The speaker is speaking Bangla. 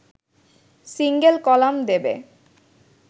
সিঙ্গেল কলাম দেবে